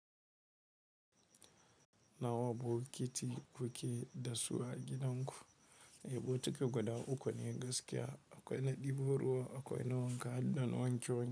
Nawa bokiti kuke dasu a gidan ku? E, bokiti guda uku ne gaskiya. Akwai na ɗibo ruwa, akwai na wanka, da na wanke wanke.